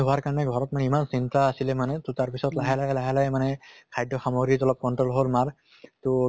হোৱাৰ কাৰণে ঘৰত মানে ইমান চিন্তা আছিলে মানে তʼ তাৰ পিছত লাহে লাহে লাহে লাহে মানে খাদ্য় সামগ্ৰিহত অলপ control হʼল মাৰ তহ